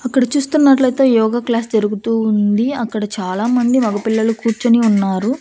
అక్కడ చూస్తున్నట్లయితే యోగ క్లాస్ జరుగుతూ ఉంది అక్కడ చాలామంది మగ పిల్లలు కూర్చుని ఉన్నారు.